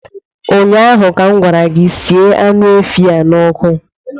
Ụnyaahụ ka m gwara gị, sie anụ efi a n'ọkụ!